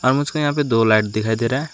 यहां पे दो लाइट दिखाई दे रहा।